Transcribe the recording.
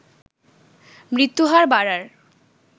মৃত্যুহার বাড়ার